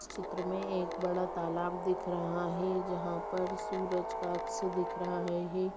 इस चित्र में एक बड़ा तालाब दिख रहा है जहाँ पर सूरज का अक्स दिख रहा है।